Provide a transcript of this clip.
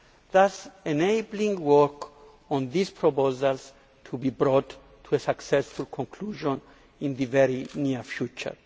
thus enabling work on these proposals to be brought to a successful conclusion in the very near future.